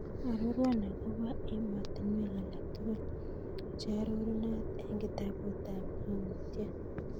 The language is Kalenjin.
Arorwan agobo ematinwek alak tugul chearorunat en kitabutab Ng'ang'utyet